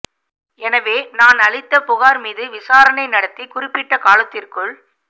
எனவே நான் அளித்த புகாா் மீது விசாரணை நடத்தி குறிப்பிட்ட காலத்திற்குள்